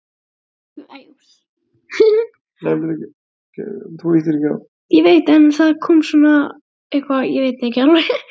Þessum spurningum er ekki hægt að svara með einföldu já eða nei.